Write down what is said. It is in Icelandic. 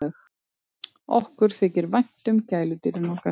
Okkur þykir vænt um gæludýrin okkar.